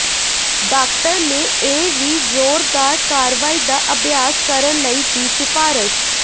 doctor ਨੇ ਇਹ ਵੀ ਜ਼ੋਰਦਾਰ ਕਾਰਵਾਈ ਦਾ ਅਭਿਆਸ ਕਰਨ ਲਈ ਦੀ ਸਿਫਾਰਸ਼